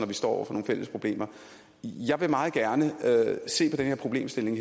vi står over for nogle fælles problemer jeg vil meget gerne se på den her problemstilling